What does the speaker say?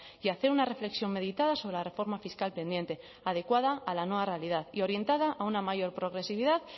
y a hacer una reflexión meditada sobre la reforma fiscal pendiente adecuada a la nueva realidad y orientada a una mayor progresividad